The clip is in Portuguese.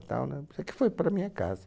E tal, né? Sei que foi para a minha casa.